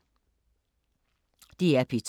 DR P2